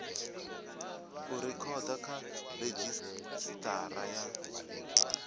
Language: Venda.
u rekhoda kha redzhisitara ya